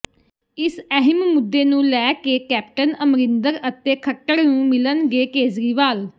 ਇਸ ਅਹਿਮ ਮੁੱਦੇ ਨੂੰ ਲੈ ਕੇ ਕੈਪਟਨ ਅਮਰਿੰਦਰ ਅਤੇ ਖੱਟੜ ਨੂੰ ਮਿਲਣਗੇ ਕੇਜਰੀਵਾਲ